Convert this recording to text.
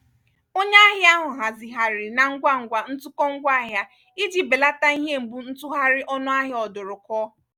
onye ahịa ahụ hazigharịrị na ngwangwa ntụkọ ngwaahịa iji belata ihe mgbu ntụgharị ọnụ ahịa ọdụrụkụọ.